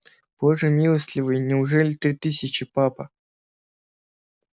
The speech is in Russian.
боже милостливый неужели ты тысячи папа